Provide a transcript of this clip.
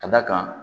Ka d'a kan